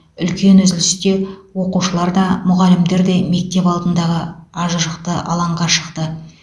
үлкен үзілісте оқушылар да мұғалімдер де мектеп алдындағы ажырықты алаңға шықты